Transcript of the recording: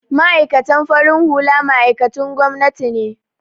Ma'aikatan farin hula ma'aikatun gwamnati ne